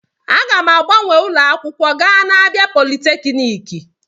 Aga m agbanwe ụlọ akwụkwọ gaa na Abia polytechniki.